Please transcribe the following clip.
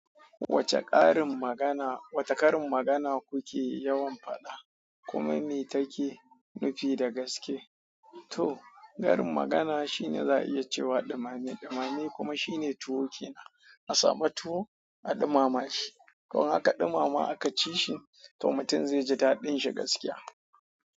Wace karin magana, wace karin magana kuke yawan faɗa? Kuma me take nufi da gaske? Toh, karin magana shine za'a iya cewa ɗumame ɗumame kuma shine tuwo ke nan. A samu tuwo a ɗumama shi. Ko aka ɗumama aka ci shi to mutum zai ji taɗin shi gaskiya.